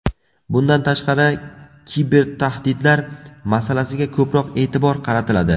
Bundan tashqari, kibertahdidlar masalasiga ko‘proq e’tibor qaratiladi.